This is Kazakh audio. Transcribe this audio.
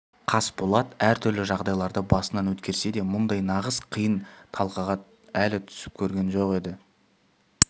қасболат әртүрлі жағдайларды басынан өткерсе де мұндай нағыз қиын талқыға өлі түсіп көрген жоқ еді